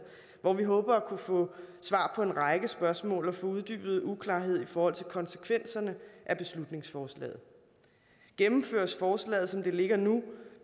hvor vi håber at kunne få svar på en række spørgsmål og få uddybet uklarhed i forhold til konsekvenserne af beslutningsforslaget gennemføres forslaget som det ligger nu